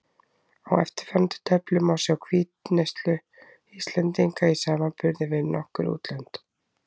Á eftirfarandi töflu má sjá hvítuneyslu Íslendinga í samanburði við nokkur útlönd.